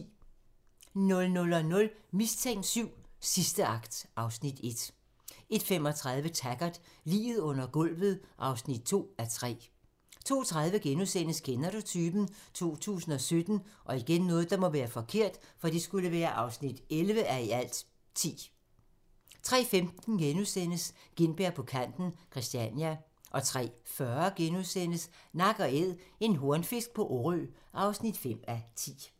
00:00: Mistænkt VII: Sidste akt (Afs. 1) 01:35: Taggart: Liget under gulvet (2:3) 02:30: Kender du typen? 2017 (11:10)* 03:15: Gintberg på kanten – Christiania * 03:40: Nak & Æd - en hornfisk på Orø (5:10)*